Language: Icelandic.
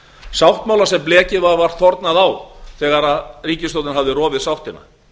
sáttmála sem blekið var vart þornað á þegar ríkisstjórnin hafði rofið sáttina